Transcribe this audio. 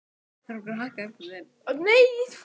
Á meðan þeir biðu Ólafs horfðust þeir í augu.